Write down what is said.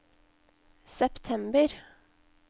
september